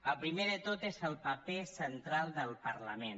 el primer de tot és el paper central del parlament